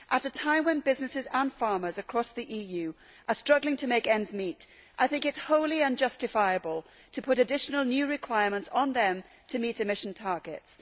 At a time when businesses and farmers across the EU are struggling to make ends meet, I think that it is wholly unjustifiable to impose additional new requirements on them to meet emission targets.